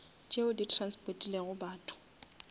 tšeo di transportilego batho